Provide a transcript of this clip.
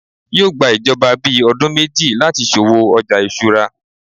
yíò gbà ìjọba ni bí ọdún méjì lati so'wo ọja isura